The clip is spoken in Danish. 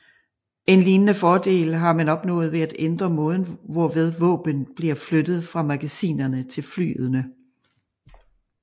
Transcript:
En lignende fordel har man opnået ved at ændre måden hvorved våben bliver flyttet fra magasinerne til flyene